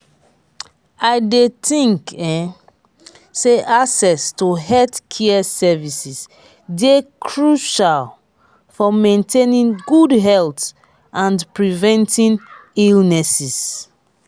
i dey think um say access to healthcare services dey crucial for maintaining good health and preventing illnesses.